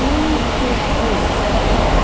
Muito ruim, porque eu era pivô.